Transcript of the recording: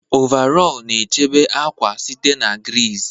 Ọvarọọr na-echebe akwa site na griiz.